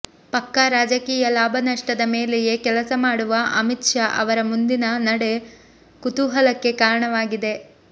ಪಕ್ಕಾ ರಾಜಕೀಯ ಲಾಭ ನಷ್ಟದ ಮೇಲೆಯೇ ಕೆಲಸ ಮಾಡುವ ಅಮಿತ್ ಶಾ ಅವರ ಮುಂದಿನ ನಡೆ ಕುತೂಹಲಕ್ಕೆ ಕಾರಣವಾಗಿದೆ